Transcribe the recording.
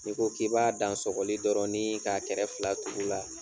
N'i ko k'i b'a dan sɔkɔli dɔrɔn nii k'a kɛrɛfɛ fila tugu la